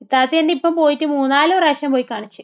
ഇത്താത്തയെല്ലാം ഇപ്പൊ പോയിട്ട് മൂന്ന് നാല് പ്രാവശ്യം പോയി കാണിച്ച്.